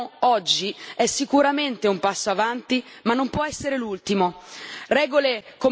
Il pacchetto che discutiamo oggi è sicuramente un passo avanti, ma non può essere l'ultimo.